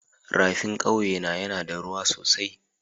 Rafin kawye na yana da ruwa sosai.